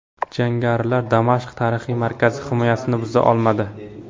Jangarilar Damashq tarixiy markazi himoyasini buza olmadi.